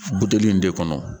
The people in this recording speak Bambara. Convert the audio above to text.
Buteli in de kɔnɔ